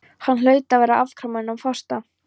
Hann hlaut að vera aðframkominn af þorsta.